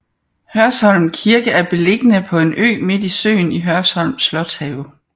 Hørsholm Kirke er beliggende på en ø midt i søen i Hørsholm Slotshave